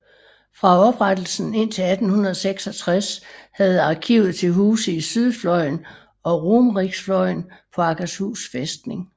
Fra oprettelsen indtil 1866 havde arkivet til huse i Sydfløyen og Romeriksfløyen på Akershus fæstning